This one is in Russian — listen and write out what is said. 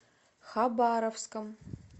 хабаровском